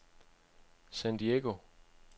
San Diego